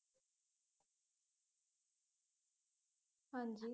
ਹਾਂਜੀ